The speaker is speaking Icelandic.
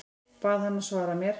Bað hana að svara mér.